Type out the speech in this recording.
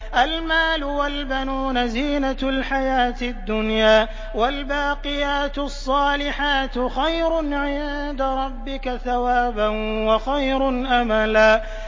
الْمَالُ وَالْبَنُونَ زِينَةُ الْحَيَاةِ الدُّنْيَا ۖ وَالْبَاقِيَاتُ الصَّالِحَاتُ خَيْرٌ عِندَ رَبِّكَ ثَوَابًا وَخَيْرٌ أَمَلًا